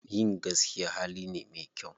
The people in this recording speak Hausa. Yin gaskiya hali ne me kyau.